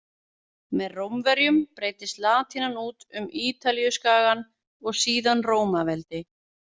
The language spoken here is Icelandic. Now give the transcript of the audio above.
Með Rómverjum breiddist latínan út um Ítalíuskagann og síðan Rómaveldi.